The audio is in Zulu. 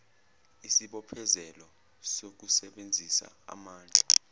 isibophezelo sokusebenzisa amandla